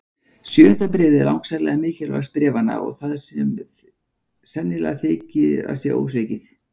Sjöunda bréfið er langsamlega mikilvægast bréfanna og það sem sennilegast þykir að sé ósvikið.